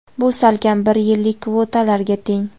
Bu salkam bir yillik kvotalarga teng.